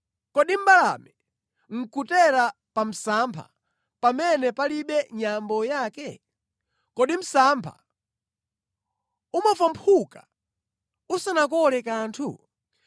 Kodi mbalame nʼkutera pa msampha pamene palibe nyambo yake? Kodi msampha umafwamphuka usanakole kanthu?